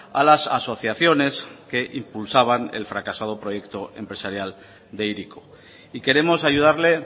a las asociaciones que impulsaban el fracasado proyecto empresarial de hiriko y queremos ayudarle